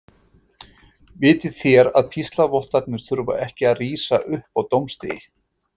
Vitið þér að píslarvottarnir þurfa ekki að rísa upp á dómsdegi?